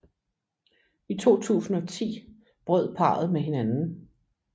I 2010 brød parret med hinanden